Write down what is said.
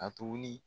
A tobi